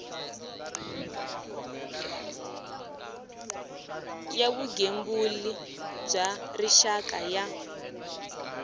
ya vugembuli bya rixaka ya